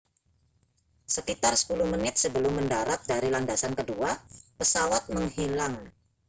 sekitar 10 menit sebelum mendarat dari landasan kedua pesawat menghilang